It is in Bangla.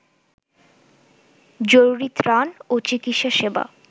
জরুরী ত্রাণ ও চিকিৎসা সেবা